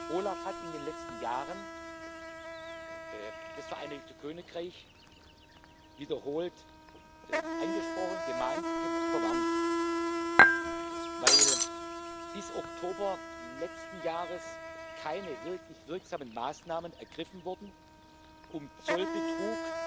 OLAF hat in den letzten Jahren das Vereinigte Königreich wiederholt angesprochen, gemahnt, verwarnt, weil bis Oktober letzten Jahres keine wirklich wirksamen Maßnahmen ergriffen wurden, um Zollbetrug